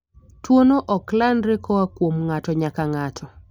Tuwono ok landre koa kuom ng'ato nyaka ng'ato.